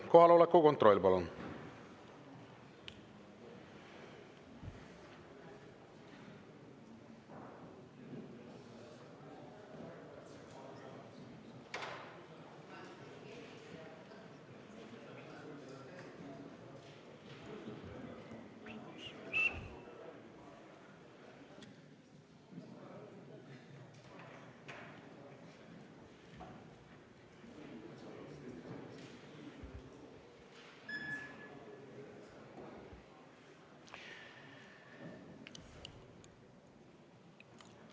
Kohaloleku kontroll, palun!